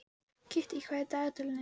Kittý, hvað er á dagatalinu í dag?